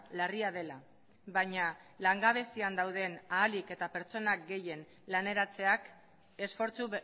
larria dela baina langabezian dauden ahalik eta pertsona gehien laneratzeak esfortzu